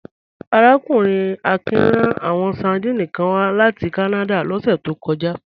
Arákùnrin Akin rán àwọn sardines kan wá láti Kánádà lọ́sẹ̀ tó kọjá